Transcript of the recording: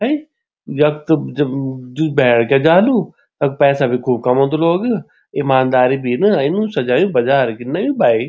हैं यख त जब जू भैर क्या जांदू तख पैसा भी खूब कमोंदु लोग इमानदारी भी इन इनु सजयुं बजार की नयु भाई।